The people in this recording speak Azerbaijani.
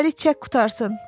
Birdəfəlik çək qurtarsın.